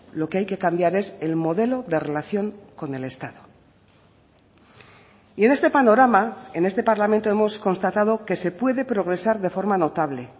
lo que hay que cambiar es el modelo de relación con el estado y en este panorama en este parlamento hemos constatado que se puede progresar de forma notable